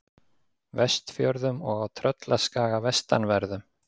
Vestfjörðum og á Tröllaskaga vestanverðum.